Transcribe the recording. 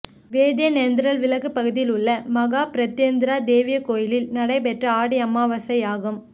வேதியரேந்தல் விலக்கு பகுதியில் உள்ள மகா பிரத்யங்கிரா தேவி கோயிலில் நடைபெற்ற ஆடி அமாவாசை யாகம்